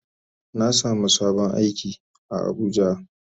Na samu sabon aiki a abuja.